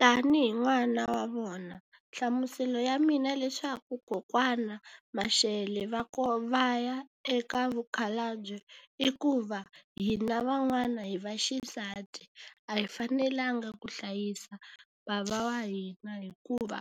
Tanihi n'wana wa vona, nhlamuselo ya mina leswaku kokwana Mashele va va ya eka vukhalabye i ku va hina van'wana hi va xisati, a hi fanelanga ku hlayisa bava wa hina hikuva,